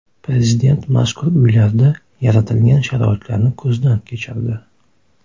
Prezident mazkur uylarda yaratilgan sharoitlarni ko‘zdan kechirdi .